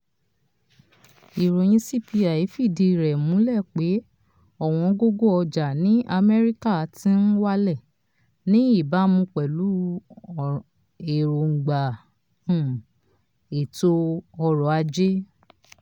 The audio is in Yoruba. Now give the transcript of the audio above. ìròyìn cpi fìdí rẹ̀ múlẹ pé ọ̀wọ́ngógó ọjà ní amẹ́rícà ti n wálẹ̀ ní ìbámu pẹ̀lú èròngbà um ètò ọrọ̀ ajé.